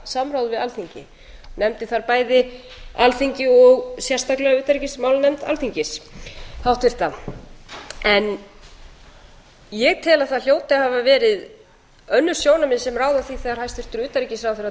samráð við alþingi nefndi þar bæði alþingi og sérstaklega utanríkismálanefnd alþingis háttvirt ég tel að það hljóti að hafa verið önnur sjónarmið sem ráða því þegar hæstvirtur utanríkisráðherra